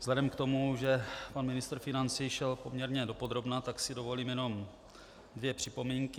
Vzhledem k tomu, že pan ministr financí šel poměrně dopodrobna, tak si dovolím jenom dvě připomínky.